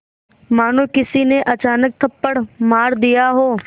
मानो किसी ने अचानक थप्पड़ मार दिया हो